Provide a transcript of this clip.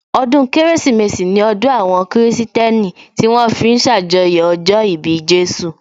Ọdún Kérésìmesì ní ọdún àwọn kìrìsìtẹ́nì tí wón fi ń ṣàjọyọ̀ ọjọ́ ìbí Jésù